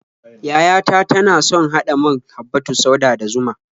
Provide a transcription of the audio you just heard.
Yaya ta tana son haɗa man habbatus sauda da zuma.